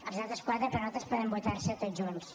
els altres quatre per nosaltres poden votar se tots junts